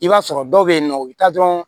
I b'a sɔrɔ dɔw bɛ yen nɔ u bɛ taa dɔrɔn